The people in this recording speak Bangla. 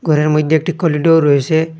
ঘরের মইধ্যে একটি কলিডর রয়েসে।